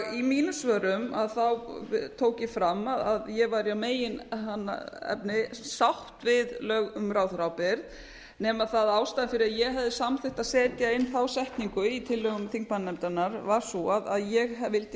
í mínum svörum tók ég fram að ég væri að meginefni sátt við lög um ráðherraábyrgð nema það að ástæðan fyrir því að ég hefði samþykkt að setja inn þá setningu í tillögum þingmannanefndarinnar var sú að ég vildi